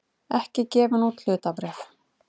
ekki gefin út hlutabréf.